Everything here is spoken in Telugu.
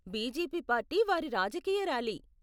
బీజేపీ పార్టీ వారి రాజకీయ ర్యాలీ.